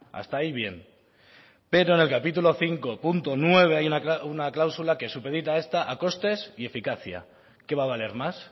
hasta ahí bien pero en el capítulo cinco punto nueve hay una cláusula que supedita a esta a costes y eficacia qué va a valer más